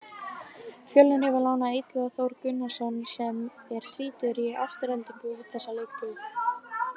Fjölnir hefur lánað Illuga Þór Gunnarsson sem er tvítugur í Aftureldingu út þessa leiktíð.